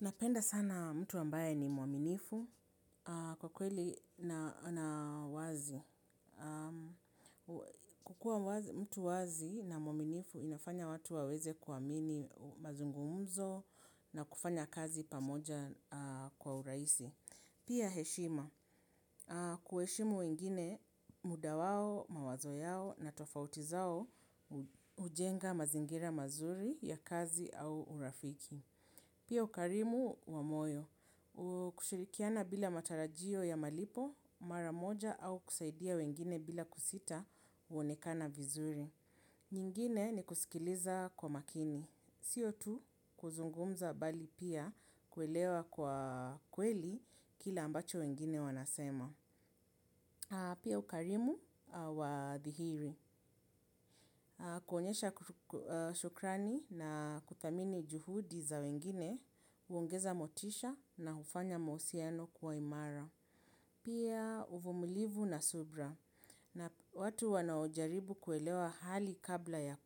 Napenda sana mtu ambaye ni mwaminifu kwa kweli na wazi. Kukuwa mtu wazi na mwaminifu inafanya watu waweze kuamini mazungumzo na kufanya kazi pamoja kwa urahisi. Pia heshima. Kuheshimu wengine muda wao, mawazo yao na tofauti zao ujenga mazingira mazuri ya kazi au urafiki. Pia ukalimu wa moyo, kushirikiana bila matarajio ya malipo maramoja au kusaidia wengine bila kusita uonekana vizuri. Nyingine ni kusikiliza kwa makini, sio tu kuzungumza mbali pia kuelewa kwa kweli kile ambacho wengine wanasema. Pia ukalimu wa dhihiri. Kuonyesha shukrani na kuthamini juhudi za wengine, uongeza motisha na ufanya mahusiano kuwa imara. Pia uvumulivu na subra. Na watu wanaojaribu kuelewa hali kabla ya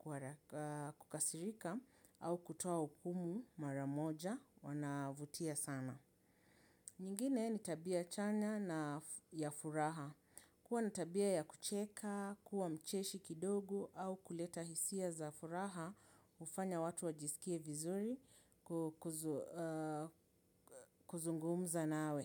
kukasirika au kutoa ukumu maramoja wanavutia sana. Nyingine ni tabia chanya na ya furaha. Kuwa natabia ya kucheka, kuwa mcheshi kidogo au kuleta hisia za furaha ufanya watu wajisikie vizuri kuzungumza nawe.